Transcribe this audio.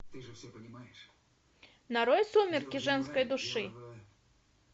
нарой сумерки женской души